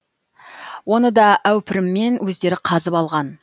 оны да әупіріммен өздері қазып алған